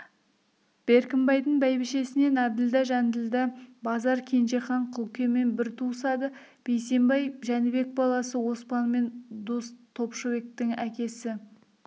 беркімбайдың бәйбішесінен әбділда жанділда базар кенжехан құлкемен бір туысады бейсембай жәнібек баласы оспанмен дос топышбектің әкесі